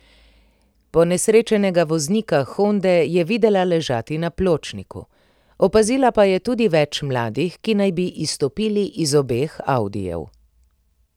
Ponesrečenega voznika honde je videla ležati na pločniku, opazila pa je tudi več mladih, ki naj bi izstopili iz obeh audijev.